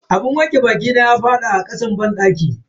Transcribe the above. Abun wanke bakina ya fadi a kasan banɗaki.